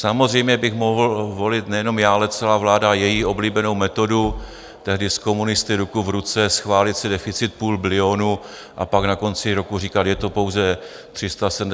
Samozřejmě bych mohl volit nejenom já, ale celá vláda její oblíbenou metodu, tehdy s komunisty ruku v ruce schválit si deficit půl bilionu, a pak na konci roku říkat, je to pouze 377, nebo pouze 420 a podobně.